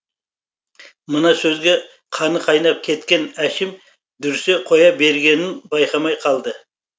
мына сөзге қаны қайнап кеткен әшім дүрсе қоя бергенін байқамай қалды